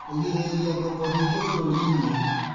Kũgirĩrĩria ngoombo nyingĩ bũrũri-inĩ